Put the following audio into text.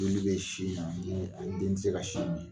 Joli bɛ sin in na , n ko den tɛ se ka sin min.